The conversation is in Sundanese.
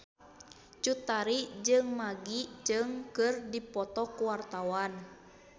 Cut Tari jeung Maggie Cheung keur dipoto ku wartawan